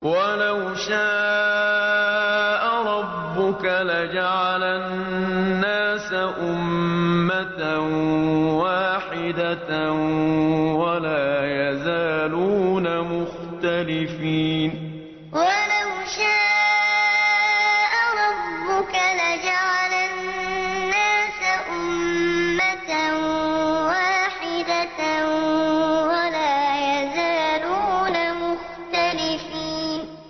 وَلَوْ شَاءَ رَبُّكَ لَجَعَلَ النَّاسَ أُمَّةً وَاحِدَةً ۖ وَلَا يَزَالُونَ مُخْتَلِفِينَ وَلَوْ شَاءَ رَبُّكَ لَجَعَلَ النَّاسَ أُمَّةً وَاحِدَةً ۖ وَلَا يَزَالُونَ مُخْتَلِفِينَ